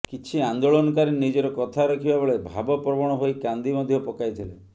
କିଛି ଆନ୍ଦୋଳନକାରୀ ନିଜର କଥା ରଖିବା ବେଳେ ଭାବପ୍ରବଣ ହୋଇ କାନ୍ଦି ମଧ୍ୟ ପକାଇଥିଲେ